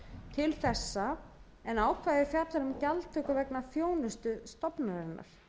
til þessa en ákvæðið fjallar um gjaldtöku vegna þjónustu stofnunarinnar